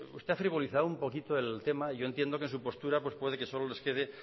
usted ha frivolizado un poquito el tema yo entiendo que en su postura pues puede que solo les quede